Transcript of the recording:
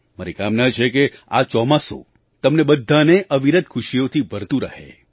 મારી કામના છે કે આ ચોમાસું તમને બધાને અવિરત ખુશીઓથી ભરતું રહે